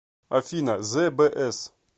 афина збс